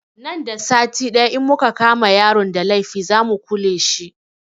Nan da sati ɗaya in muka kama yaron da laifi za mu kule shi